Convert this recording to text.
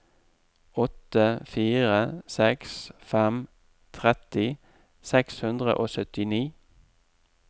åtte fire seks fem tretti seks hundre og syttini